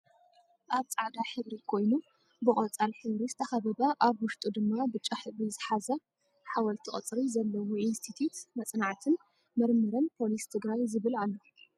ኣብ ፃዕዳ ሕብሪ ኮይኑ ብቆፃል ሕብሪ ዝተከበበ ኣብ ውሽጡ ድማ ብጫ ሕብሪ ዝሓዘ ሓወልቲ ቅርፂ ዘለዎኢንስቲትዩት መፅናዕትን ምርምርን ፖሊስ ትግራይ ዝብል ኣሎ።